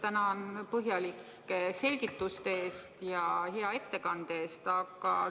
Tänan põhjalike selgituste ja hea ettekande eest!